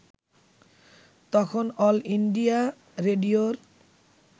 তখন all India রেডিওর